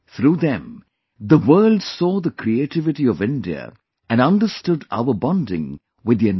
Through them the world saw the creativity of India and understood our bonding with the environment